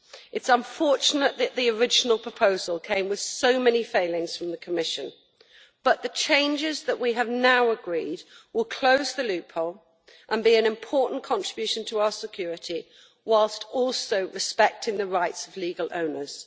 It is unfortunate that the original proposal came with so many failings from the Commission, but the changes that we have now agreed will close the loopholes and make an important contribution to our security, whilst also respecting the rights of legal owners.